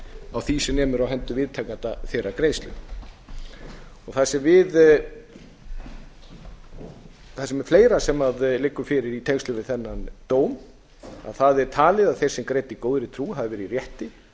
á því sem nemur viðtakanda þeirrar greiðslu það sem er fleira sem liggur fyrir í tengslum við þennan dóm það er talið að þeir sem greiddu í góðri trú hafi verið í rétti